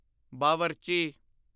ਬਾਵਰਚੀ